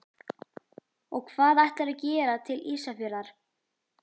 Og hvað ætlarðu að gera til Ísafjarðar?